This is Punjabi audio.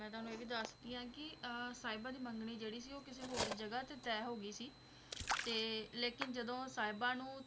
ਮੈਂ ਤੁਹਾਨੂੰ ਇਹ ਵੀ ਦੱਸਦੀ ਹਾਂ ਕਿ ਅਹ ਸਾਹਿਬਾਂ ਦੀ ਮੰਗਣੀ ਜਿਹੜੀ ਸੀ ਉਹ ਕਿਸੇ ਹੋਰ ਜਗ੍ਹਾ ਤੇ ਤੈਅ ਹੋ ਗਈ ਸੀ, ਤੇ ਲੇਕਿਨ ਜਦੋਂ ਸਾਹਿਬਾਂ ਨੂੰ